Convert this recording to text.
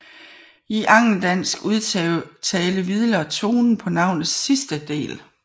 I angeldansk udtale hviler tonen på navnets sidste del